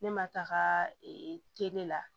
Ne ma taga la